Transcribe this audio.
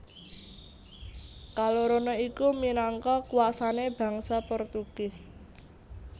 Kalorone iku minangka kuasané bangsa Portugis